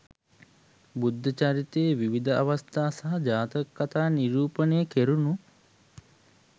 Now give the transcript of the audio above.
බුද්ධ චරිතයේ විවිධ අවස්ථා සහ ජාතක කතා නිරූපණය කෙරුණු